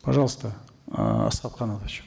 пожалуйста эээ асхат канатович